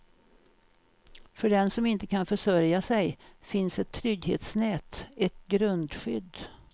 För den som inte kan försörja sig finns ett trygghetsnät, ett grundskydd.